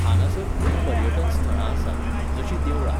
हांगासर खूब पर्यटन स्थळां आसात, जशीं देवळां.